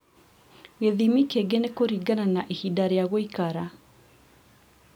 Gĩthimi kĩngĩ nĩ kũringana na ihinda rĩa gũikara